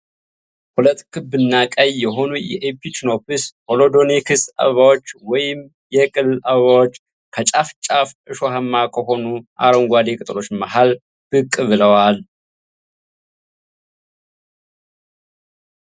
ሁለት ክብ እና ቀይ የሆኑ የኢቺኖፕስ ሆሎዶኒክስ አበባዎች ወይንም የቅል አበባዎች ከጫፍ ጫፉ እሾሃማ ከሆኑ አረንጓዴ ቅጠሎች መሃል ብቅ ብለዋል።